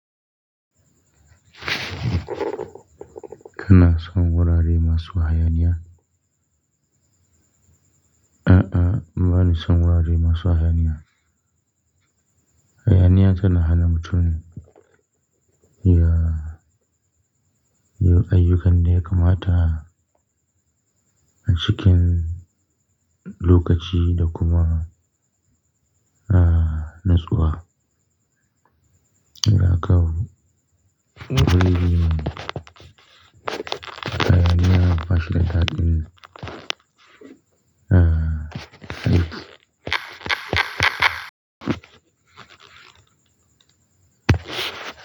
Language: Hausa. Kana son wurare masu hayaniya? A'a, bani son wurare masu hayaniya. Hayaniya tana hana mutum ya, ya yi ayyukan da ya kamata a cikin lokaci da kuma, ah, natsuwa. Idan aka hayaniya, masha Allah, mm, ah.